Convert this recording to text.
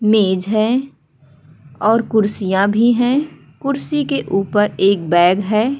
मेज है और कुर्सियाँ भी हैं कुर्सी के ऊपर एक बैग है।